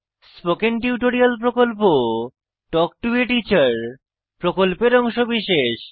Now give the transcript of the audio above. spoken tutorial প্রকল্প talk to a teacher প্রকল্পের অংশবিশেষ